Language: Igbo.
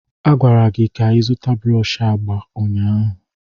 A gwara gị ka ị zụta brọsh agba ụnyaahụ.